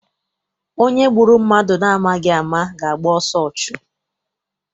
Onye gburu mmadụ na amaghị ama ga- agba ọsọ ọchụ.